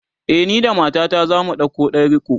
e, ni da matata zamu ɗauko ɗan riko